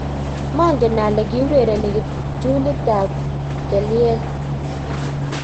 maangen ale ki urereni kiptulitab kelyel